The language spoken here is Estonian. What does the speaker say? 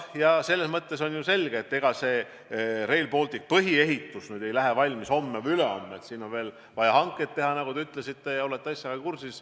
Ja selles mõttes on ju selge, et Rail Balticu põhiehitus ei lähe lahti homme ega ülehomme, vaid siin on vaja veel hankeid teha, nagu te ütlesite – te olete asjaga kursis.